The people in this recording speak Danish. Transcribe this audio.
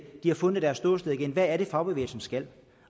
har fundet deres ståsted igen hvad er det fagbevægelsen skal